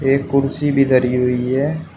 एक कुर्सी भी धरी हुई है।